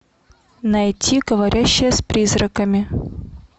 найти говорящая с призраками